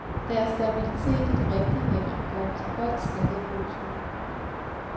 Deres stabilitet, i de rigtige hænder, gør dem til højt skattede brugshunde.